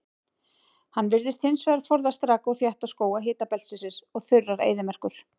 Hann virðist hins vegar forðast raka og þétta skóga hitabeltisins og þurrar eyðimerkur.